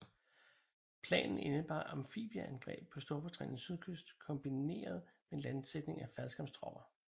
Planen indebar amfibieangreb på Storbritanniens sydkyst kombineret med landsætning af faldskærmstropper